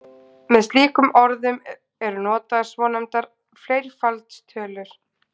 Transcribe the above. með slíkum orðum eru notaðar svonefndar fleirfaldstölur